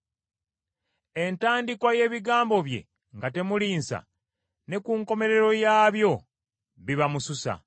Entandikwa y’ebigambo bye nga temuli nsa, ne ku nkomerero yaabyo biba mususa.